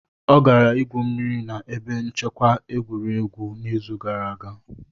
Ọ gara igwu mmiri na ebe nchekwa egwuregwu n'izu gara aga.